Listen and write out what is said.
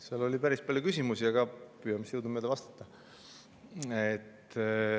Seal oli päris palju küsimusi, püüan jõudumööda vastata.